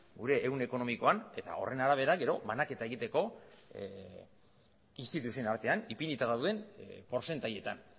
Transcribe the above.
gure ehun ekonomikon eta horren arabera gero banaketa egiteko instituzioen artean ipinita dauden portzentaietan